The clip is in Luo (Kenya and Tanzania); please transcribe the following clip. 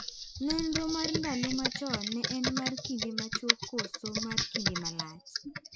Nonro mar ndalo ma chon ne en mar kinde machuok koso mar kinde malach?